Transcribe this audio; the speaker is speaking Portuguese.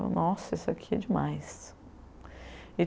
Eu, nossa, isso aqui é demais.